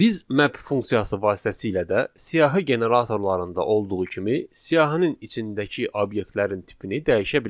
Biz map funksiyası vasitəsilə də siyahı generatorlarında olduğu kimi siyahının içindəki obyektlərin tipini dəyişə bilərik.